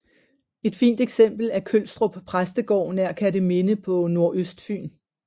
Et fint eksempel er Kølstrup Præstegård nær Kerteminde på Nordøstfyn